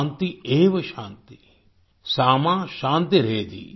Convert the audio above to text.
शान्तिरेव शान्ति सा मा शान्तिरेधि